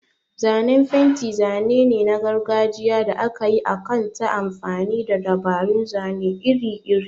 Zanen fenti zane ne na gargajiya da aka yi akan ta amfani da dabarun zane iri-iri.